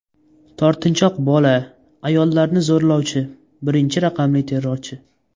Tortinchoq bola, ayollarni zo‘rlovchi, birinchi raqamli terrorchi.